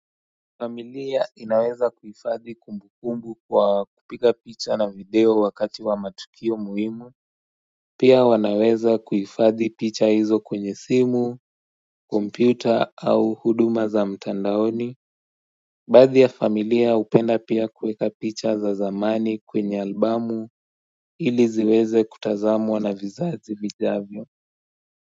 Familia inaweza kuifadhi kumbu kumbu kwa kupika picha na video wakati wa matukio muhimu Pia wanaweza kuifadhi picha hizo kwenye simu, kompyuta au huduma za mtandaoni Badhi ya familia upenda pia kueka picha za zamani kwenye albamu ili ziweze kutazamwa na vizazi vijavyo.